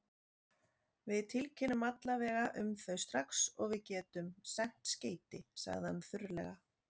Við tilkynnum alla vega um þau strax og við getum sent skeyti, sagði hann þurrlega.